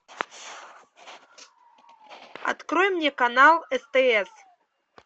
открой мне канал стс